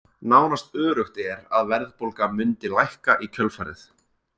Nánast öruggt er að verðbólga mundi lækka í kjölfarið.